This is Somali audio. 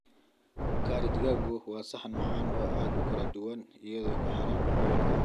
Curry digaaggu waa saxan macaan oo aad u kala duwan iyadoo ku xiran gobolka.